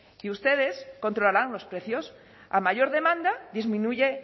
y ustedes controlarán los precios a mayor demanda disminuye